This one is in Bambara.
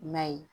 I m'a ye